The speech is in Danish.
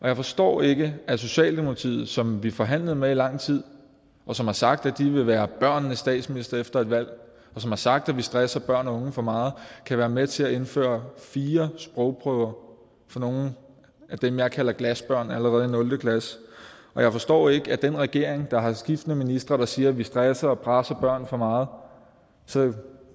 jeg forstår ikke at socialdemokratiet som vi forhandlede med i lang tid og som har sagt at de vil være børnenes statsminister efter et valg og som har sagt at vi stresser børn og unge for meget kan være med til at indføre fire sprogprøver for nogle af dem jeg kalder glasbørn allerede i nul klasse og jeg forstår ikke at den regering der har skiftende ministre der siger at vi stresser og presser børn for meget så